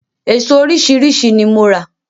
Eso oríṣiríṣi ni mo rà.